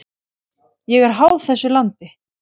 Ég er háð þessu landi.